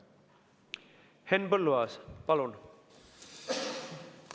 Henn Põlluaas, palun!